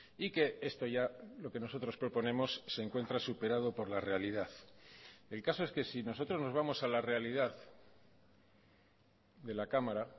y que esto ya lo que nosotros proponemos se encuentra superado por la realidad el caso es que si nosotros nos vamos a la realidad de la cámara